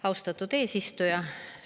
Austatud eesistuja!